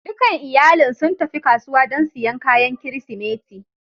Dukan iyalin sun tafi kasuwa don siyan kayan Kirsimeti